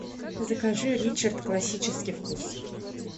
закажи ричард классический вкус